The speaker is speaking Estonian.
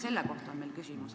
Selle kohta on meil küsimus.